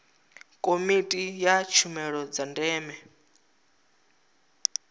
komiti ya tshumelo dza ndeme